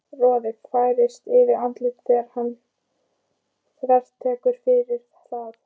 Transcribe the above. Roði færist yfir andlitið þegar hann þvertekur fyrir það.